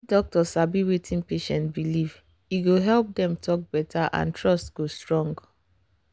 if doctor sabi wetin patient believe e go help dem talk better and trust go strong.